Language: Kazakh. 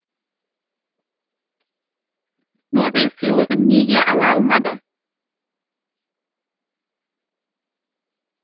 нобель сыйлығын неге ала алмады